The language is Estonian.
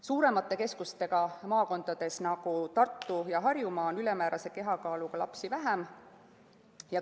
Suuremate keskustega maakondades, nagu Tartu- ja Harjumaa, on ülemäärase kehakaaluga lapsi vähem.